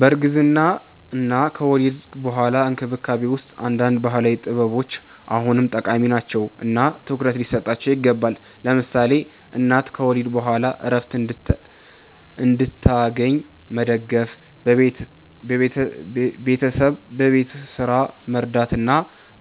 በእርግዝና እና ከወሊድ በኋላ እንክብካቤ ውስጥ አንዳንድ ባህላዊ ጥበቦች አሁንም ጠቃሚ ናቸው እና ትኩረት ሊሰጣቸው ይገባል። ለምሳሌ እናት ከወሊድ በኋላ ዕረፍት እንድታገኝ መደገፍ፣ ቤተሰብ በቤት ስራ መርዳት እና